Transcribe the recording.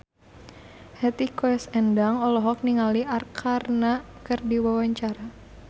Hetty Koes Endang olohok ningali Arkarna keur diwawancara